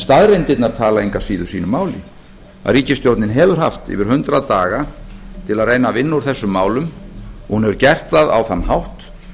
staðreyndirnar tala engu að síður sínu máli að ríkisstjórnin hefur haft yfir hundrað daga til að reyna að vinna úr þessum málum og hún hefur gert það á þann hátt